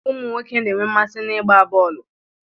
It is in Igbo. Ụmụ nwoke na-enwe mmasị n'ịgba bọọlụ